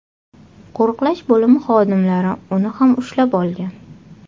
Qo‘riqlash bo‘limi xodimlari uni ham ushlab olgan.